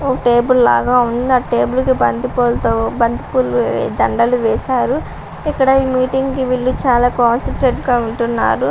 ఒక టేబల్ లాగా ఉంది ఆ టేబల్కి బంతి పూలతో బంతి పూల దండాలు వేశారు ఇక్కడ ఈ మీటింగ్ కి వీళ్ళు చాలా కాన్సంట్రేట్గా ఉంటున్నారు.